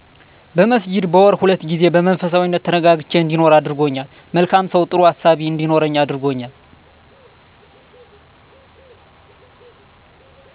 በመስጅድ በወር 2 ጊዜ በመንፈሳዊነት ተረጋግቼ እንዲኖር አድርጎልኛል። መልካም ሰው ጥሩ አሳቤ እንዲኖረኝ እረድቶኛል።